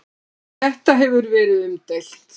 Þetta hefur verið umdeilt.